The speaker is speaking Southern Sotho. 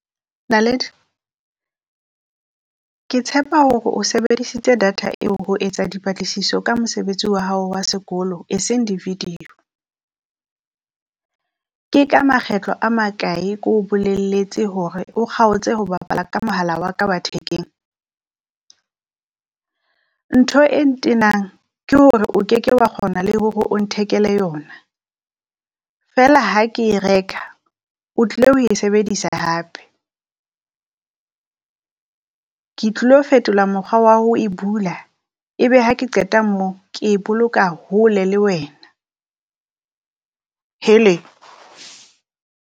Naledi Ke tshepa hore o sebedisitse data eo ho etsa dipatlisiso ka mosebetsi wa hao wa sekolo e seng di video. Ke ka makgetlo a makae ko o bolelletse hore o kgaotse ho bapala ka mohala wa ka wa thekeng? Ntho e ntenang ke hore o keke wa kgona le hore o nthekele yona, feela ha ke e reka o tlile ho e sebedisa hape. Ke tlilo fetola mokgwa wa ho e bula, ebe ha ke qeta moo ke e boloka hole le wena hele.